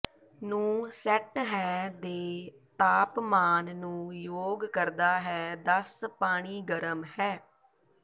ਨੂੰ ਸੈੱਟ ਹੈ ਦੇ ਤਾਪਮਾਨ ਨੂੰ ਯੋਗ ਕਰਦਾ ਹੈ ਦਸ ਪਾਣੀ ਗਰਮ ਹੈ